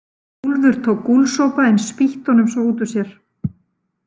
Úlfur tók gúlsopa en spýtti honum svo út úr sér.